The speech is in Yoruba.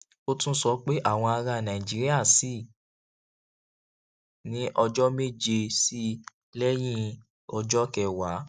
ó tún sọ pé àwọn ará nàìjíríà ṣì ní ọjọ méje sí i lẹyìn ọjọ kẹwàá